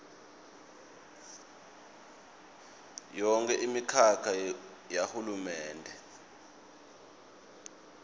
yonkhe imikhakha yahulumende